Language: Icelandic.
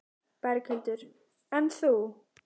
Berghildur: En þú?